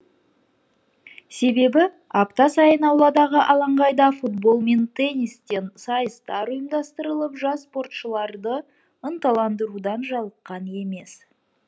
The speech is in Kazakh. себебі апта сайын ауладағы алаңқайда футбол мен теннистен сайыстар ұйымдастырылып жас спортшыларды ынталандырудан жалыққан емес